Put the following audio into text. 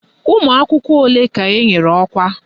Ụmụakwụkwọ ole ka enyere ọkwa?